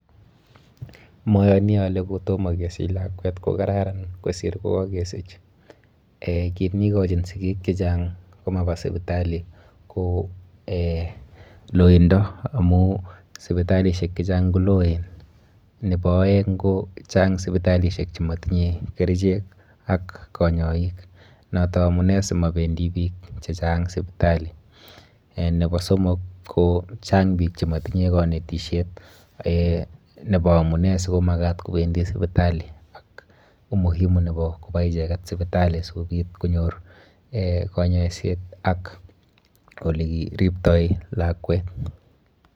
Moyani ale kotomo kesich lakwet ko kararan kosir ko kakesich,[um] kiit ne kochin sikik che chang komaba sipitali ko[um] loindo amu sipitalisiek che chang ko loen, nebo aeng ko chang sipitalisiek chematinye kerichek ak konyoik noto amune simabendi piik che chang sipitali, um nebo somok ko chang piik che matinye kanetisiet um nebo amune sikomakat kobendi sipitali ak umuhimu nebo koba icheket sipitali sikobit konyor um kanyaiset ak ole kiriptoi lakwet.